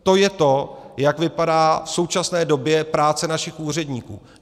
To je to, jak vypadá v současné době práce našich úředníků.